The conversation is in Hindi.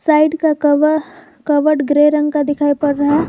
साइड का कव कबड ग्रे रंग का दिखाई पड़ रहा है।